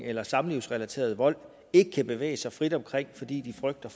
eller samlivsrelateret vold ikke kan bevæge sig frit omkring fordi de frygter